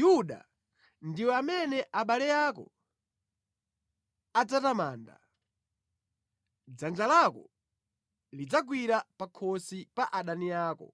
“Yuda, ndiwe amene abale ako adzatamanda; dzanja lako lidzagwira pa khosi pa adani ako;